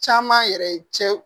Caman yɛrɛ ye cɛ